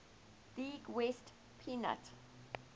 league west pennant